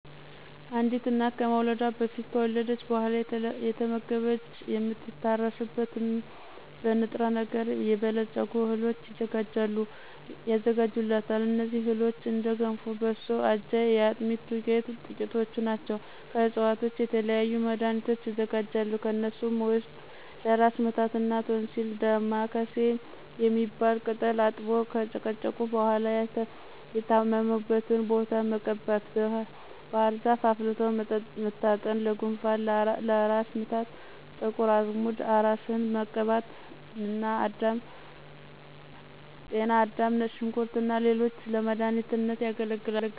አንዲት እናት ከመውለዷ በፊት ከወለደች በኋላ አየተመገበች የምትታረስበትን በ ንጥረ ነገር የበለፀጉ እህሎች ይዘጋጁላታል። እነዚህ እህሎችም እንደ ገንፎ፣ በሶ፣ አጃ፣ የአጥሚት ዱቄት ጥቂቶቹ ናቸው። ከዕፅዋቶች የተለያዩ መድኋኒቶች ይዘጋጃሉ። ከነሱም ውስጥ ለ እራስ ምታት እና ቶንሲል ዳማ ካሴ የሚባል ቅጠል አጥቦ ከጨቀጨቁ በኋላ የታመሙበትን ቦታ መቀባት፣ ባህርዛፍ አፍልቶ መታጠን ለጉንፋን፣ ለ እራስ ምታት ጥቁር አዝሙድ እራስን መቀባት፣ ጤና አዳም፣ ነጭ ሽንኩርት እና ሌሎችም ለመዳኒትነት ያገለግላሉ።